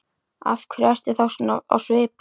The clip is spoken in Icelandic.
Af hverju ertu þá svona á svipinn?